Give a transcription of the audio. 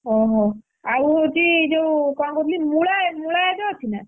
ଓହୋ ଆଉ ହଉଛି ଯୋଉ କଣ କହୁଥିଲି ମୂଳା ମୂଳା ଏବେ ଅଛି ନା?